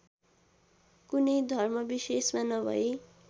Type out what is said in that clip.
कुनै धर्मविशेषमा नभई